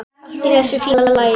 Allt í þessu fína lagi.